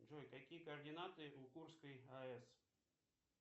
джой какие координаты у курской аэс